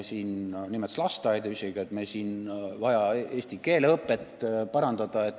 Aga tema vaade oli ikka selline, et meil on vaja keeleõpet parandada.